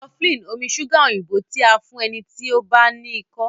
cofflin omí ṣuga òyìnbó ti a fún ẹní tí o bá no iko.